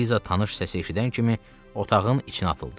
Eliza tanış səsi eşidən kimi otağın içinə atıldı.